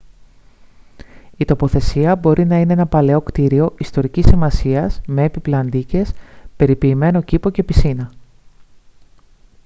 η τοποθεσία μπορεί να είναι ένα παλαιό κτίριο ιστορικής σημασίας με έπιπλα αντίκες περιποιημένο κήπο και πισίνα